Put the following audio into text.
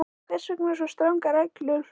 En hvers vegna svo strangar reglur?